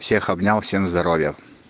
всех обнял всем здоровья